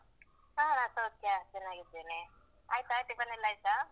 ಹಾ ನಾನ್ ಸೌಖ್ಯ, ಚೆನ್ನಾಗಿದ್ದೇನೆ. ಆಯ್ತಾ tiffin ಎಲ್ಲ ಆಯ್ತಾ?